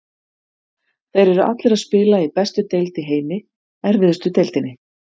Þeir eru allir að spila í bestu deild í heimi, erfiðustu deildinni.